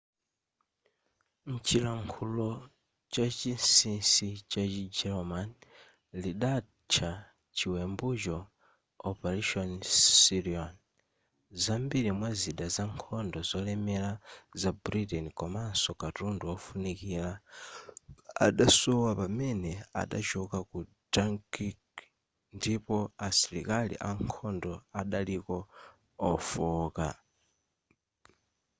mchilankhulo chachinsisi chachi german lidatcha chiwembucho operation sealion zambiri mwa zida za nkhondo zolemera za britain komanso katundu wofunikira adasowa pamene adachoka ku dunkirk ndipo asilikali ankhondo adaliko ofooka